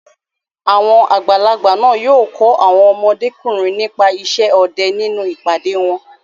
Àwọn àgbàlagbà náà yóò kọ́ àwọn ọmọdékùnrin nípa isẹ́ ọdẹ nínú ìpàdé wọn.